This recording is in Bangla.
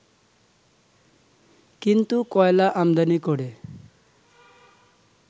কিন্তু কয়লা আমদানি করে